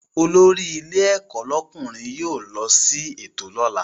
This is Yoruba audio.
Olórí ilé ẹ̀kọ́ lọ́kùnrin yóò lọ sí ètò lọ́la